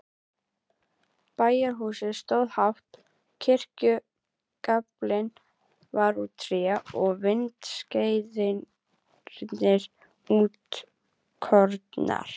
Bæjarhúsin stóðu hátt, kirkjugaflinn var úr tré og vindskeiðarnar útskornar.